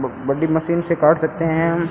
बड़ी मशीन से काट सकते हैं हम--